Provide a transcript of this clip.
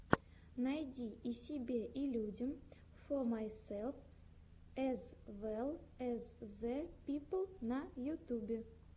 найди и себе и людям фо майсэлф эз вэлл эз зэ пипл на ютюбе